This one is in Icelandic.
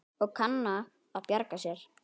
Og kann að bjarga sér.